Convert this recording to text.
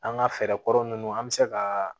An ga fɛɛrɛ kɔrɔ nunnu an be se ka